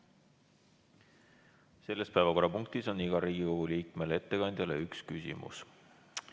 Selles päevakorrapunktis on igal Riigikogu liikmel õigus esitada ettekandjale üks küsimus.